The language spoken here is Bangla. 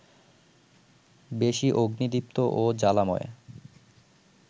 বেশি অগ্নিদীপ্ত ও জ্বালাময়